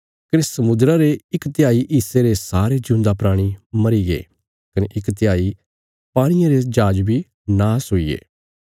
कने समुद्रा रे इक तिहाई हिस्से रे सारे जिऊंदा प्राणी मरीगे कने इक तिहाई पाणिये रे जहाज बी नाश हुईगे